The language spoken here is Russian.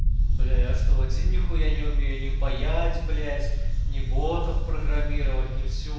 бля я что один нехуя не умею не паять блять не ботов программировать не все